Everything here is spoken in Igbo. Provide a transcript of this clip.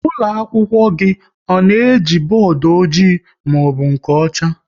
Ụlọakwụkwọ gị ọ na-eji bọọdụ ọjị maọbụ nke ọcha?